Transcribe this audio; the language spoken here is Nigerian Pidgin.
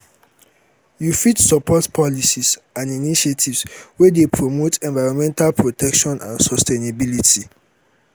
you fit support policies and initiatives wey dey promote environmental protection and sustainability.